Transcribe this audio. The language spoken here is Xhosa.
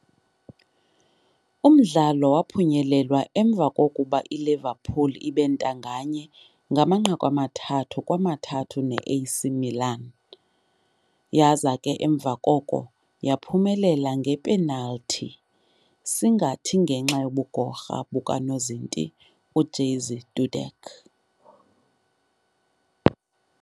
Umdlalo waphunyelelwa emva kokuba iLiverpool ibentanganye ngo-3-3 neA.C. Milan yaza ke emva koko yaphumelela nge"penal"thi, singathi ngenxa yobugorha bukanozinti u-Jerzy Dudek.